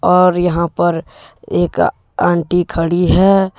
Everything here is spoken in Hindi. और यहां पर एक आंटी खड़ी है।